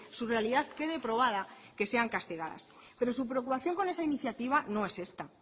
su realidad quede probada que sean castigadas pero su preocupación con esa iniciativa no es esta